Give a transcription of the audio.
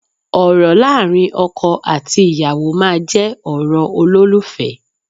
Ọ̀rọ̀ láàrin ọkọ àti ìyàwó máa jẹ́ ọ̀rọ̀ olólùfẹ́